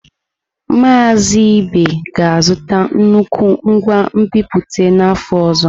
Mazị Ibe ga-azụta nnukwu ngwa nbipute n’afọ ọzọ.